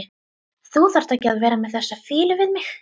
Þú þarft ekki að vera með þessa fýlu við mig.